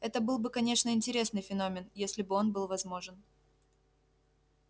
это был бы конечно интересный феномен если бы он был возможен